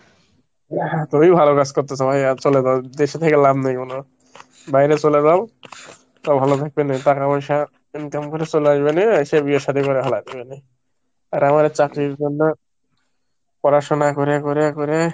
তুমি ভালো কাজ করতাসো ভাই, আর চলে যাও দেশে থেকে লাভ নেই কোনো বাইরে চলে যাও, তা ভালো থাকবেন। টাকা পয়সা income করে চলে আসবে নিয়ে এসে বিয়ে সাদি করে ফেলা যাবে নিয়ে। আর আমারে চাকরির জন্য পড়াশোনা করে করে করে,